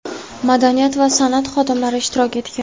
madaniyat va san’at xodimlari ishtirok etgan.